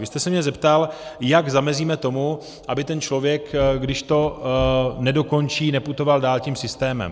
Vy jste se mě zeptal, jak zamezíme tomu, aby ten člověk, když to nedokončí, neputoval dál tím systémem.